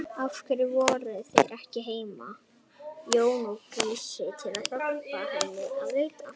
Af hverju voru þeir ekki heima, Jón og Gísli, til að hjálpa henni að leita?